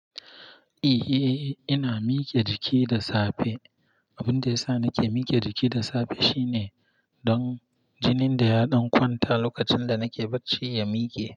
Eh, ina mike jiki da safe. Abun da ya sa nake mike jiki da safe shine don jinin da ya ɗan kwanta lokacin da nake barci ya mike.